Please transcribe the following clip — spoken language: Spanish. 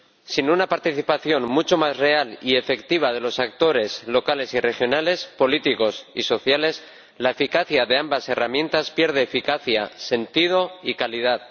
Sin una participación mucho más real y efectiva de los actores locales y regionales, políticos y sociales, la eficacia de ambas herramientas pierde eficacia, sentido y calidad.